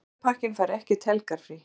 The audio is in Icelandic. Slúðurpakkinn fær ekkert helgarfrí.